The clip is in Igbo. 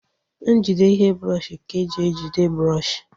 Njide ihe brọọshi ka e ji ejide brọọshi